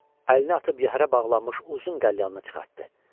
Əlini atıb yəhərə bağlanmış uzun qəlyanı çıxartdı.